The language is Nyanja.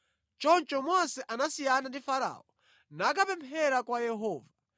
Choncho Mose anasiyana ndi Farao nakapemphera kwa Yehova.